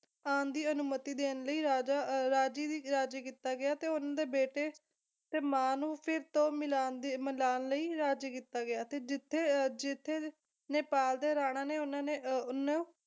ਆਉਣ ਦੀ ਅਨੁਮਤੀ ਦੇਣ ਲਈ ਰਾਜਾ ਅਹ ਰਾਜੀ ਦੀ ਰਾਜੀ ਕੀਤਾ ਗਿਆ ਤੇ ਉਹਨਾਂ ਦੇ ਬੇਟੇ ਤੇ ਮਾਂ ਨੂੰ ਫਿਰ ਤੋਂ ਮਿਲਾਉਣ ਦੀ ਮਿਲਾਉਣ ਲਈ ਰਾਜੀ ਕੀਤਾ ਗਿਆ ਸੀ ਤੇ ਜਿੱਥੇ ਜਿੱਥੇ ਨੇਪਾਲ ਦੇ ਰਾਣਾ ਨੇ ਉਹਨਾਂ ਨੇ ਓਹਨੂੰ